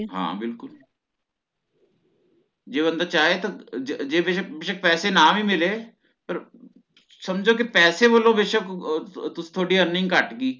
ਹਾਂ ਬਿਲਕੁਲ ਜੇ ਬੰਦਾ ਚਾਹੇ ਤਾ ਜੇ ਜੇ ਬੇਸ਼ਕ ਪੈਸੇ ਨਾ ਵੀ ਮਿਲੇ ਫਿਰ ਸਮਝੋ ਕੇ ਪੈਸੇ ਵਲੋਂ ਬੇਸ਼ਕ ਅਹ ਅਹ ਤੁਹਾਡੀ earning ਘੱਟ ਹੈ